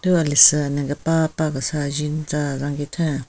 Thu alesu ane kepapa kesa jin tsa zaginthen.